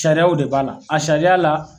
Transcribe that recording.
Sariyaw de b'a la a sariya la.